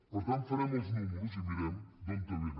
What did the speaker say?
per tant farem els números i mirem d’on vénen